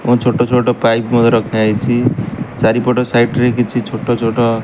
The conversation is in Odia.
ବହୁତ୍ ଛୋଟ ଛୋଟ ପାଇପ ମଧ୍ୟ ରଖାଯାଇଛି ଚାରିପଟ ସାଇଟ ରେ ରେ କିଛି ଛୋଟ ଛୋଟ --